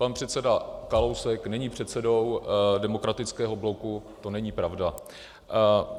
Pan předseda Kalousek není předsedou Demokratického bloku, to není pravda.